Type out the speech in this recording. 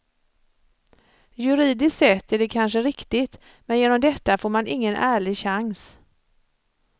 Juridiskt sett är det kanske riktigt, men genom detta får man ingen ärlig chans.